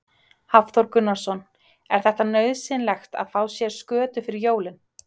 Hafþór Gunnarsson: Er þetta nauðsynlegt að fá sér skötu fyrir jólin?